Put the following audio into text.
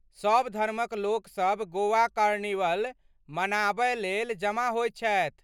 सभ धर्मक लोकसभ गोवा कार्निवल मनाबय लेल जमा होयत छथि।